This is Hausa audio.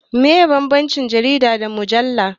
Meye bambancin jarida da mujalla?